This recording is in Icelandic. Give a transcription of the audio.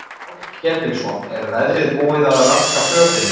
Páll Ketilsson: Er veðrið búið að raska þinni för?